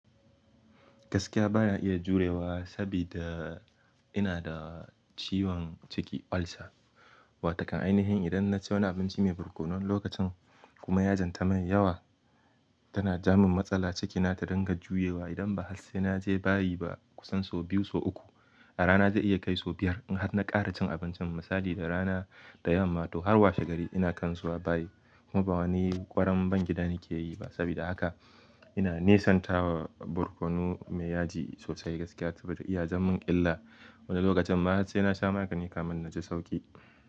Gaskiya ba na iya jurewa sabida, ina da ciwon ciki ulcer. Wato ƙan ainihin idan na ci wani abinci mai barkono wani lokacin, kuma yajin ta min yawa, tana ja min matsala cikina ta dinga juyewa. Idan ba har sai na je bayi ba kusan sau biyu sau uku, a rana zai iya kai sau biyar. In har na ƙara cin abincin, misali da rana da yamma to har washe gari ina kan zuwa bayi. Kuma ba wani ƙwaran ban gida nake yi ba sabida haka ina nisantawa barkono mai yaji sosai gaskiya, saboda iya jan min illa. Wani lokacin ma har sai na sha magani kamin na ji sauƙi.